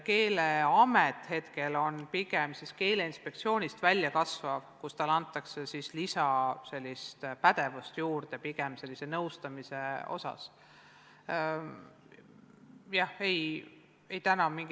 Keeleamet kasvab välja Keeleinspektsioonist ja talle antakse pigem juurde lisapädevust, näiteks nõustamine jne.